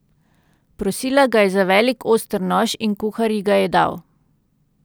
Prosila ga je za velik oster nož in kuhar ji ga je dal.